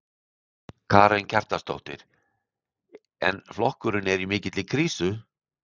Karen Kjartansdóttir: En flokkurinn er í mikilli krísu?